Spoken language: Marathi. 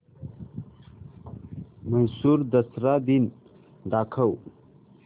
म्हैसूर दसरा दिन दाखव